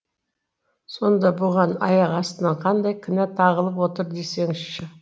сонда бұған аяқ астынан қандай кінә тағылып отыр десеңізші